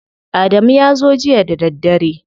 Adamu ya zo jiya da daddare.